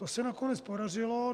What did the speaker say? To se nakonec podařilo.